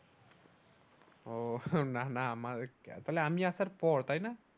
উহ না না আমার ও তো আমি আসার পরেই তাইনা